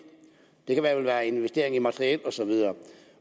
det kan vel være investeringer i materiel og så videre